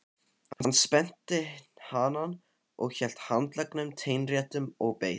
Hann spennti hanann og hélt handleggnum teinréttum og beið.